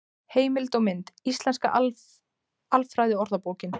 Heimild og mynd: Íslenska alfræðiorðabókin.